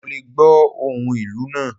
Mo lé gbò ohún ìlú naa